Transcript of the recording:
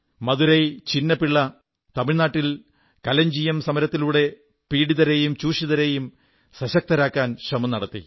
മദുരൈ ചിന്ന പിള്ള തമിഴ്നാട്ടിൽ കലഞ്ജിയം സമരത്തിലൂടെ പീഡിതരെയും ചൂഷിതരെയും സശക്തരാക്കാൻ ശ്രമം നടത്തി